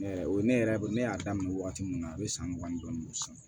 o ye ne yɛrɛ bolo ne y'a daminɛ waati min na a bɛ san mugan dɔɔnin don sisan